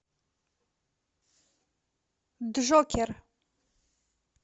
джокер